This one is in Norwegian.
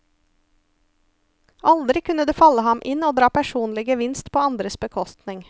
Aldri kunne det falle ham inn å dra personlig gevinst på andres bekostning.